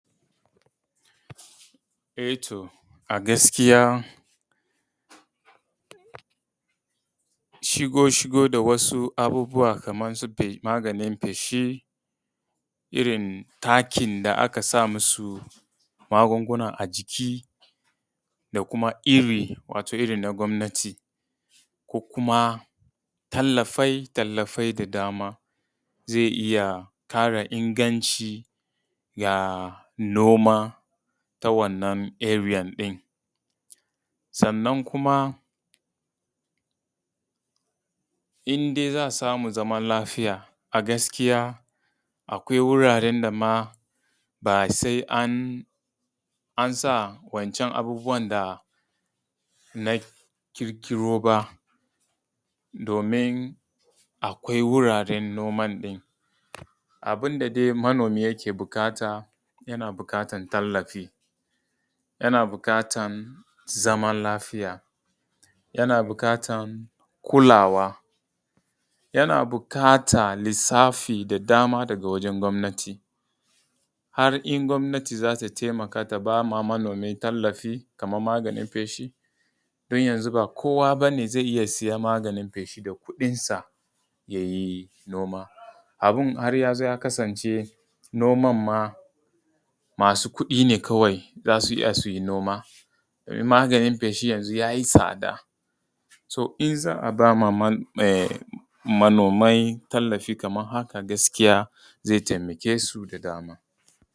Eh to a gaskiya shigo shigo da wasu abubuwa Kaman su maganin feshi, irin takin da aka sa musu magunguna a jiki, da kuma iri, wato irin na gwamnati, ko kuma tallafai tallafai da dama zai iya ƙara inganci ga noma ta wannan arean ɗin. Sannan kuma in dai za a samu zaman lafiya a gaskiya akwai wuraren da ma ba sai an sa wancan abubuwan da na ƙirƙiro ba, domin akwai wuraren noman ɗin. abun da da dai manomi yake buƙata, yana buƙatan tallafi, yana buƙatan zaman lafiya, yana buƙatan kulawa, yana buƙatan lissafi da dama daga wajan gwamnati. Har in gwamnati za ta taimaka ta ba ma manomi tallafi kaman maganin feshi, don yanzu ba kowa bane zai iya siyan maganin feshi da kuɗinsa ya yi noma. Abun har ya zo ya kasance noman ma masu kuɗi ne kawai za su iya su yi noma. Maganin feshi yanzu ya yi tsada. To in za a ba ma manomai tallafi kaman haka gaskiya zai taimake su da dama.